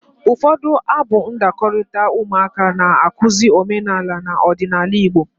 Ụfọdụ abụ ndakọrita ụmụaka na-akụzi omenala na ọdịnaala Igbo.